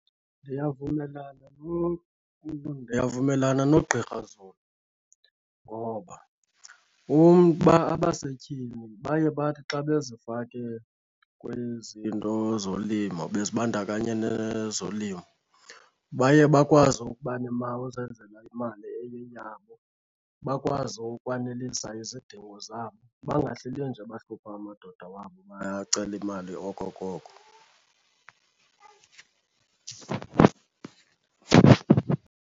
Ndiyavumelana , ndiyavumelana noGqr Zulu ngoba uba abasetyhini baye bathi xa bezifake kwezi zinto zolimo bezibandakanye nezolimo baye bakwazi ukuba , uzenzela imali eyeyabo bakwazi ukwanelisa izidingo zabo, bangahleli nje bahlupha amadoda wabo bacela imali okokoko.